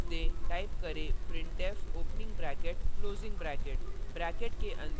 space दें type करें printf opening bracket closing bracket